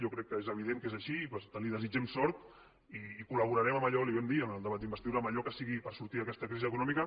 jo crec que és evident que és així i li desitgem sort i col·laborarem en allò li ho vam dir en el debat d’investidura que sigui per sortir d’aquesta crisi econòmica